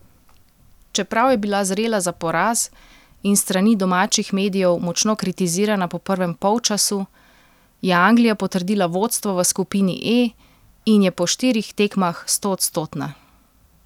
Čeprav je bila zrela za poraz in s strani domačih medijev močno kritizirana po prvem polčasu, je Anglija potrdila vodstvo v skupini E in je po štirih tekmah stoodstotna.